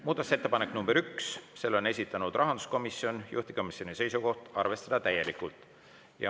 Muudatusettepanek nr 1, selle on esitanud rahanduskomisjon, juhtivkomisjoni seisukoht on arvestada täielikult.